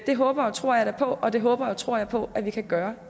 det håber og tror jeg da på og det håber og tror jeg på at vi kan gøre